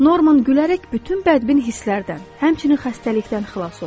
Norman gülərək bütün bədbin hisslərdən, həmçinin xəstəlikdən xilas oldu.